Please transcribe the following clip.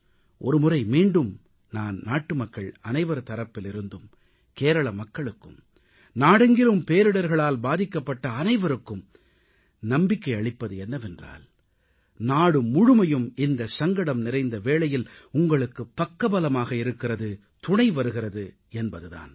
ஒருமுறை மீண்டும் நான் நாட்டுமக்கள் அனைவர் தரப்பிலிருந்தும் கேரள மக்களுக்கும் நாடெங்கிலும் பேரிடர்களால் பாதிக்கப்பட்ட அனைவருக்கும் நம்பிக்கை அளிப்பது என்னவென்றால் நாடு முழுமையும் இந்த சங்கடம் நிறைந்த வேளையில் உங்களுக்கு பக்கபலமாக இருக்கிறது துணைவருகிறது என்பது தான்